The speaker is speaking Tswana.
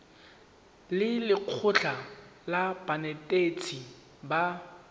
le lekgotlha la banetetshi ba